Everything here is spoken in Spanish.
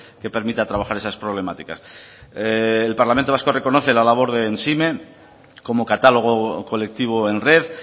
que permita trabajar esas problemáticas el parlamento vasco reconoce la labor de emsime como catálogo colectivo en red